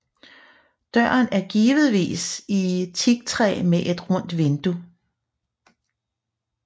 Døren er givetvis i teaktræ med et rundt vindue